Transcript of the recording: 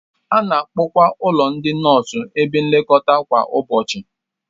A na-akpọkwa ụlọ ndị nọọsụ ebe nlekọta kwa ụbọchị